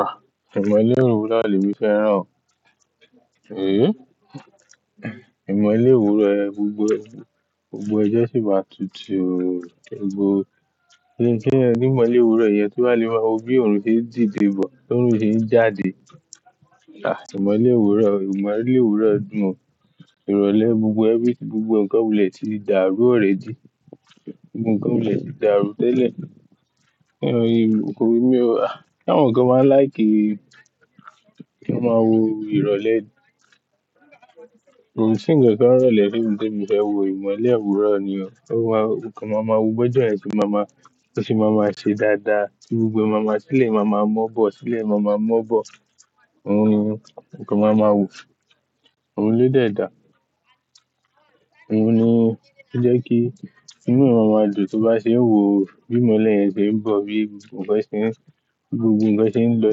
Ah! Ìmọ̀lé òwúrọ̀ ni emi fẹ́ràn Èéh! Ìmọ̀lé òwúrọ̀ ẹ, gbogbo, gbogbo ojo sì máa tutù o, gbogbo ẹni tí ìmọ̀lé òwúrọ̀ yẹn bá lè máa wò bí òòrùn ṣe ń dìde bọ̀, bí òòrùn ṣe ń jáde. Ah! Ìmọ̀lé òwúrọ̀, ìmọ̀lé òwúrọ̀ mọ, ìrọ̀lẹ́ gbogbo everything gbogbo nǹkan wulẹ̀ ti dàrú already, gbogbo nǹkan wulẹ̀ ti dàrú tẹ́lẹ̀. Eh mí o, ah! Ṣe àwọn kan máa ń like kí wọ́n máa wo ìrọ̀lẹ́ ni. Kò sí nkankan ń irọ̀lẹ́ temi temi fẹ́ wo ìmọ̀lé òwúrọ̀ ni o. Ọ̀ún wá, nǹkan máa ma wo bi ọ́jọ́ ṣe máa ma, bó ṣe máa ma ṣe dáadáa. Ti gbogbo ẹ máa ma, ti ilẹ máa ma mọ̀ bọ̀, tì ilẹ máa ma mọ̀ bọ̀. Nǹkan máa ma wo. Oun lo dẹ dà. Òun ni ó jẹ́ kí inú èèyàn máa dùn, tó bá ṣe ń wò bí ìmọ̀lé yẹn ṣe ń bọ̀, bí gbogbo nǹkan ṣe ń, gbogbo nǹkan ṣe ń lọ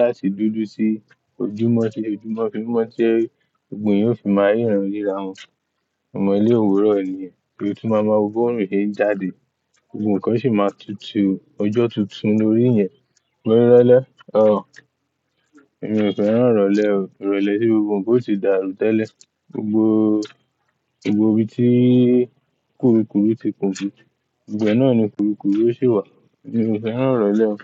láti dúdú sí ojúmọ́ fẹ́, ojúmọ́ fẹ́, ojúmọ́ tí ẹgbòun yóò fi máa ríran ríra wọn. Ìmọ̀lé òwúrọ̀ nìyẹn, bí ó tun má máa wo bí òòrùn ṣe ń jáde, gbogbo nǹkan sì máa tutù, Ọjọ́ tuntun lórí yẹn. Irọlẹ, ọ. Èmi ò fẹ́ràn ìrọ̀lẹ́ o. Ìrọ̀lẹ́ tí gbogbo nǹkan ó ti dàrú tẹ́lẹ̀. Gbogbo, gbogbo ibi tí kúrukùru ti pọju. Ibe náà ni kúrukùru ó sì wà. Èmi ò fẹ́ràn ìrọ̀lẹ́ o.